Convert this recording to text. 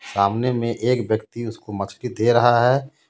सामने में एक व्यक्ति उसको मछली दे रहा है मछ --